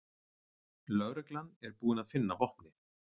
Lögreglan er búin að finna vopnið